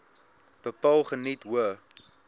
bepaal geniet hoë